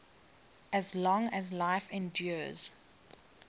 as long as life endures